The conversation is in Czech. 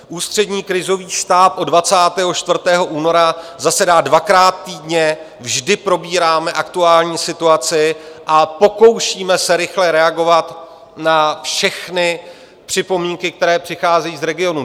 Ústřední krizový štáb od 24. února zasedá dvakrát týdně, vždy probíráme aktuální situaci a pokoušíme se rychle reagovat na všechny připomínky, které přicházejí z regionů.